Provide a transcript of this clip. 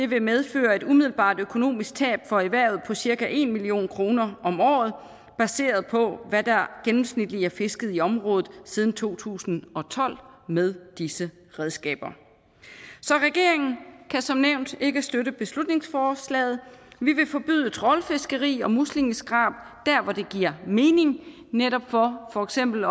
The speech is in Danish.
vil medføre et umiddelbart økonomisk tab for erhvervet på cirka en million kroner om året baseret på hvad der gennemsnitligt er fisket i området siden to tusind og tolv med disse redskaber så regeringen kan som nævnt ikke støtte beslutningsforslaget vi vil forbyde trawlfiskeri og muslingeskrab der hvor det giver mening netop for for eksempel